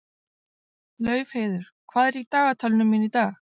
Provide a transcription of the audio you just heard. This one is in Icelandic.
Laufheiður, hvað er í dagatalinu mínu í dag?